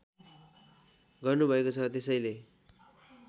गर्नुभएको छ त्यसैले